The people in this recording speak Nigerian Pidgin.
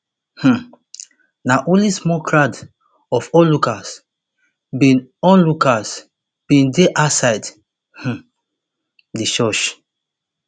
um na only small crowd of onlookers bin onlookers bin dey outside um di church